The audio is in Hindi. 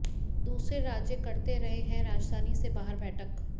दूसरे राज्य करते रहे हैं राजधानी से बाहर बैठक